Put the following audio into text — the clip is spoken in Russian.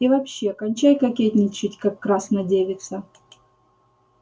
и вообще кончай кокетничать как красна девица